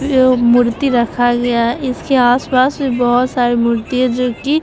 ये उ मूर्ति रखा गया है इसके आस-पास भी बहुत सारे मूर्ति है जो की --